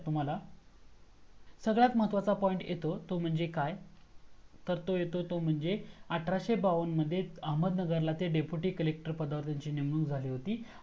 सगळ्यात महत्वाचा point येतो तो म्हणजे काय तर तो येतो तो म्हणजे आठराशे बावन्न मध्ये अहमदनगर ला ते deputy collector पदावर त्यांची नेमणूक झाली होती